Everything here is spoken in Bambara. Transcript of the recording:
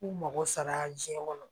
K'u mago sara jiɲɛ kɔnɔ